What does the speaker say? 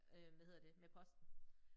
Øh hvad hedder det med posten